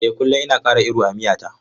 Eh kullum ina kara iru a miya ta.